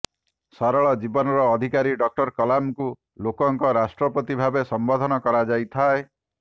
ସରଳ ଜୀବନର ଅଧିକାରୀ ଡକ୍ଟର କଲାମଙ୍କୁ ଲୋକଙ୍କ ରାଷ୍ଟ୍ରପତି ଭାବେ ସମ୍ବୋଧନ କରାଯାଇଥାଏ